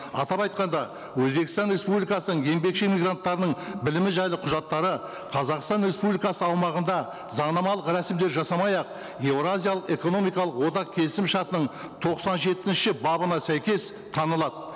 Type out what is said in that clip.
атап айтқанда өзбекстан республикасының еңбекші мигранттарының білімі жайлы құжаттары қазақстан республикасы аумағында заңнамалық рәсімдеу жасамай ақ еуразиялық экономикалық одақ келісім шартының тоқсан жетінші бабына сәйкес танылады